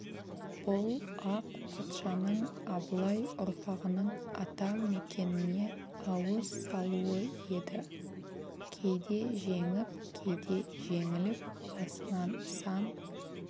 бұл ақ патшаның абылай ұрпағының ата мекеніне ауыз салуы еді кейде жеңіп кейде жеңіліп басынан сан